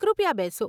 કૃપયા બેસો.